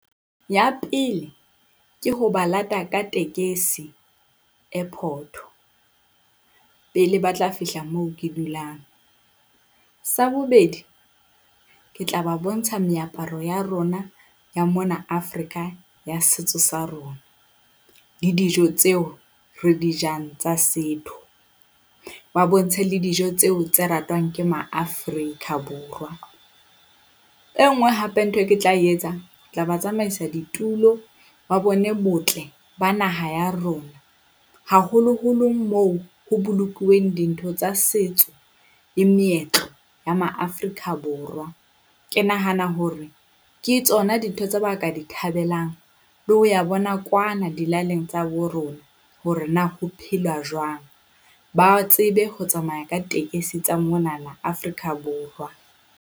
Ya pele, ke ho ba lata ka tekesi airport, pele ba tla fihla moo ke dulang. Sa bobedi, ke tla ba bontsha meaparo ya rona ya mona Afrika ya setso sa rona, le dijo tseo re di jang tsa setho. Ba bontshwe le dijo tseo tse ratwang ke Maafrika Borwa. E nngwe hape ntho e nke ke tla etsa, tla ba tsamaisa ditulo ba bone botle ba naha ya rona, haholoholo moo ho bolokuweng dintho tsa setso le meetlo ya Maafrika Borwa. Ke nahana hore ke tsona dintho tse ba ka di thabelang le ho ya bona kwana dilaleng tsa bo rona hore na ho phelwa jwang. Ba tsebe ho tsamaya ka tekesi tsa monana Afrika Borwa.